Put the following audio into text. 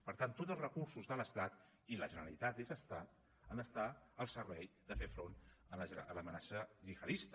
per tant tots els recursos de l’estat i la generalitat és estat han d’estar al servei de fer front a l’amenaça gihadista